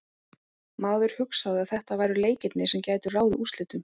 Maður hugsaði að þetta væru leikirnir sem gætu ráðið úrslitum.